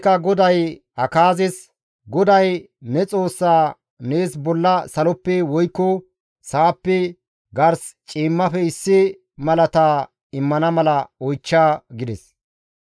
«GODAY ne Xoossa nees bolla saloppe, woykko sa7appe, gars ciimmafe issi malata immana mala oychcha» gides.